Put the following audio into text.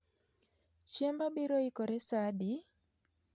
Chiemba biro ikore sa adi